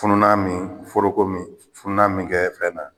Fununan min foroko fununan min kɛ fɛn na